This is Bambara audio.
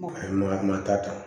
a ye maga mata